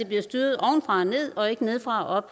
bliver styret ovenfra og ned og ikke nedefra